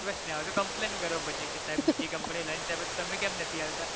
request ન સાંભળે તો complain કરો પછી કે સાહેબ બીજી company lunch આપે છે તમે કેમ નથી આપતા